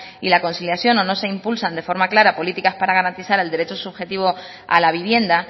y la conciliación o no se impulsan de forma clara políticas para garantizar el derecho subjetivo a la vivienda